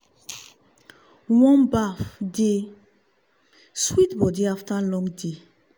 warm bath dey sweet body after long day.